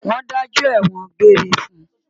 Wọ́n dájọ́ ẹ̀wọ̀n-òn gbére fún un